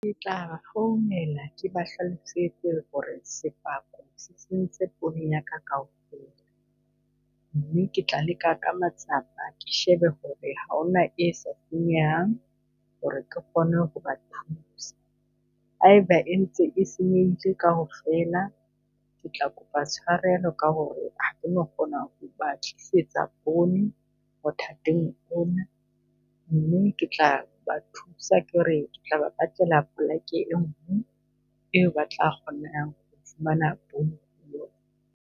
Ke tla ba founela ke ba hlalosetse hore sefako se sentse poone yaka kaofela. Mme ke tla leka ka matsapa ke shebe hore haona e sa senyehang hore ke kgone ho ba thusa. Haeba e ntse e senyehile kaofela, ke tla kopa tshwarelo ka hore ha keno kgona ho ba tlisetsa poone Mme ke tla ba thusa ke re ke tla ba batlela pleke enngwe e ba tla kgona ho fumana poone